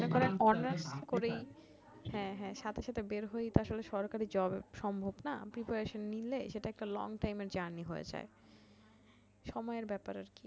যেমন এখন অনার্স করেই হ্যা হ্যা সাথে সাথে বের হয়েই তো আসলে সরকারি job সম্ভব না preparation নিলে সেইটা একটা long time এর journey হয়ে যায় সময়ের ব্যাপার আরকি